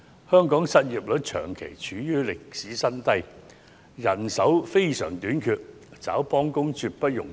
香港失業率長期處於歷史新低，人手短缺，想招聘幫工絕不容易。